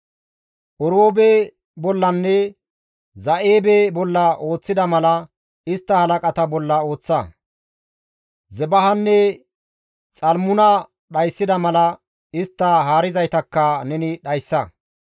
Oreebe bollanne Za7eebe bolla ooththida mala istta halaqata bolla ooththa; Zebahanne Xalmuna dhayssida mala istta haarizaytakka neni dhayssa.